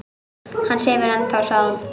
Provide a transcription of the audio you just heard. Hann sefur ennþá, sagði hún.